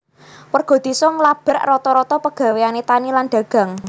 Warga désa ngablak rata rata pegawéané tani lan dagang